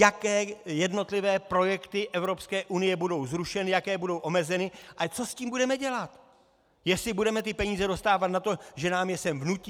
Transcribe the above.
Jaké jednotlivé projekty Evropské unie budou zrušeny, jaké budou omezeny a co s tím budeme dělat, jestli budeme ty peníze dostávat na to, že nám je sem vnutí?